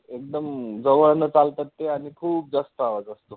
एकदम जवळनं चालतात ते आणि खूप जास्त आवाज असतो.